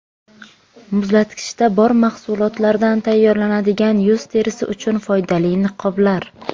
Muzlatkichda bor mahsulotlardan tayyorlanadigan yuz terisi uchun foydali niqoblar.